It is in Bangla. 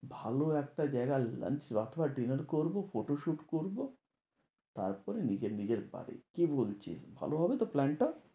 ভালো একটা জায়গা lunch অথবা dinner করবো, photoshoot করবো। তারপরে নিজের নিজের বাড়ি কি বলছিস ভালো হবে তো plan টা?